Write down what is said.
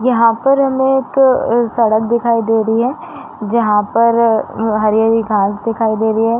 यहाँ पर हमें एक सड़क दिखाई दे रही है जहाँ पर हरी-हरी घास दिखाई दे रही हैं।